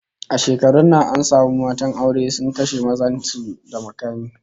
A shekarun nan an samu matan aure da suka kashe mazan su da makami